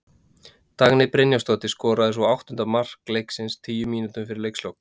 Dagný Brynjarsdóttir skoraði svo áttunda mark leiksins tíu mínútum fyrir leikslok.